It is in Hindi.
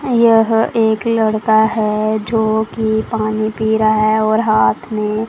यह एक लड़का है जोकि पानी पी रहा है और हाथ में--